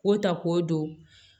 K'o ta k'o don